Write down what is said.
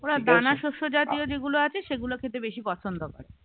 ওরা দানা শস্য জাতীয় যেগুলো আছে সেগুলো খেতে বেশি পছন্দ করে